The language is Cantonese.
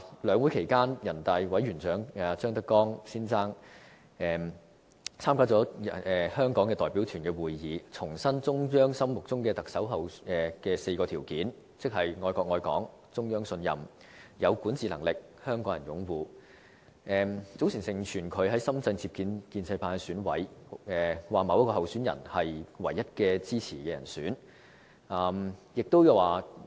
兩會期間，全國人民代表大會常務委員會委員長張德江參加人大香港代表團的會議，重申中央心目中的特首的4項條件，即愛國愛港、中央信任、有管治能力、港人擁護，早前盛傳他到深圳接見建制派選委，說某位候選人是中央唯一支持的人選。